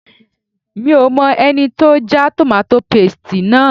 Mi ò mọ ẹni tó já tòmátò pasìtì náà